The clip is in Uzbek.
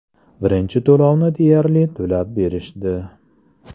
Birinchi to‘lovni deyarli to‘lab berishdi.